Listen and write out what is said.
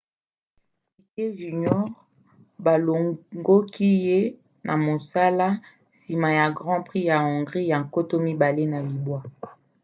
piquet jr. balongoki ye na mosala nsima ya grand prix ya hongrie ya 2009